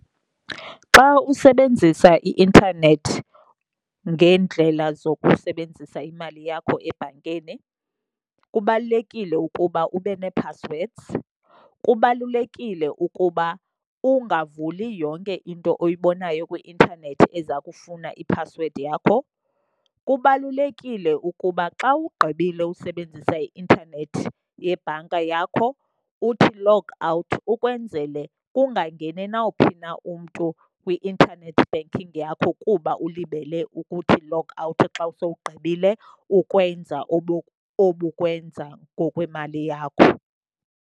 Xa usebenzisa i-intanethi ngeendlela zokusebenzisa imali yakho ebhankini kubalulekile ukuba ube nee-passwords, kubalulekile ukuba ungavuli yonke into oyibonayo kwi-intanethi eza kufuna iphasiwedi yakho. Kubalulekile ukuba xa ugqibile usebenzisa i-intanethi yebhanka yakho uthi log out, ukwenzele kungangeni nawuphi na umntu kwi-internet banking yakho kuba ulibele ukuthi log out xa sowugqibile ukwenza obukwenza ngokwemali yakho.